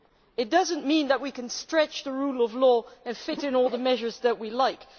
It does not mean that we can stretch the rule of law and fit in all the measures that we like